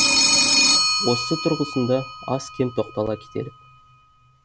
осы тұрғысында аз кем тоқтала кетелік